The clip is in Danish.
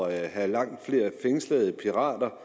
at have langt flere pirater